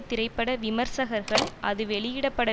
திரைப்பட விமர்சகர்கள் அது வெளியிடப்பட